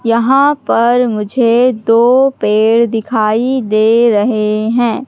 यहां पर मुझे दो पेड़ दिखाई दे रहे हैं।